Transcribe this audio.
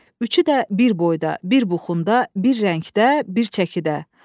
Üçü də bir boyda, bir buxunda, bir rəngdə, bir çəkidə.